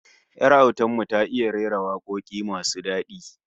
Yar autar mu ta iya rera wakoki masu dadi